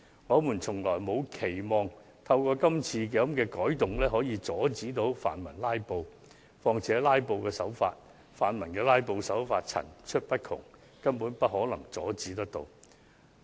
我們從沒期望可藉這次改動阻止泛民"拉布"，況且泛民的"拉布"手法層出不窮，實在難以完全遏止。